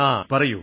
അഖിൽ പറയൂ